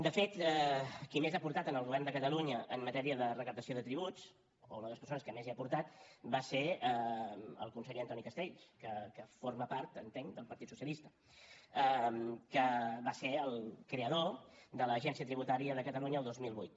de fet qui més ha aportat al govern de catalunya en matèria de recaptació de tributs o una de les persones que més hi ha aportat va ser el conseller antoni castells que forma part entenc del partit socialista que va ser el creador de l’agència tributària de catalunya el dos mil vuit